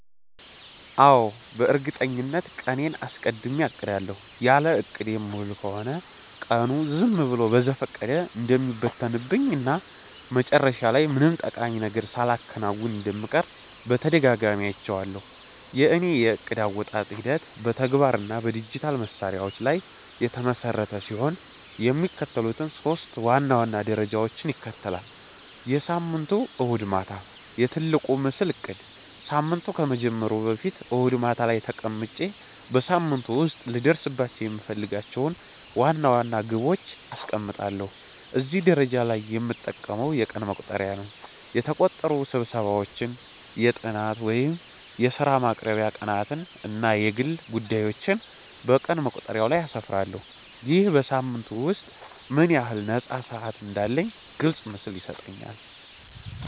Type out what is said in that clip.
አዎ፣ በእርግጠኝነት ቀኔን አስቀድሜ አቅዳለሁ። ያለ እቅድ የምውል ከሆነ ቀኑ ዝም ብሎ በዘፈቀደ እንደሚበተንብኝ እና መጨረሻ ላይ ምንም ጠቃሚ ነገር ሳላከናውን እንደምቀር በተደጋጋሚ አይቼዋለሁ። የእኔ የዕቅድ አወጣጥ ሂደት በተግባር እና በዲጂታል መሣሪያዎች ላይ የተመሰረተ ሲሆን፣ የሚከተሉትን ሶስት ዋና ዋና ደረጃዎች ይከተላል፦ የሳምንቱ እሁድ ማታ፦ "የትልቁ ምስል" እቅድ ሳምንቱ ከመጀመሩ በፊት እሁድ ማታ ላይ ተቀምጬ በሳምንቱ ውስጥ ልደርስባቸው የምፈልጋቸውን ዋና ዋና ግቦች አስቀምጣለሁ። እዚህ ደረጃ ላይ የምጠቀመው የቀን መቁጠሪያ ነው። የተቀጠሩ ስብሰባዎችን፣ የጥናት ወይም የሥራ ማቅረቢያ ቀናትን እና የግል ጉዳዮቼን በቀን መቁጠሪያው ላይ አስፍራለሁ። ይህ በሳምንቱ ውስጥ ምን ያህል ነፃ ሰዓት እንዳለኝ ግልጽ ምስል ይሰጠኛል።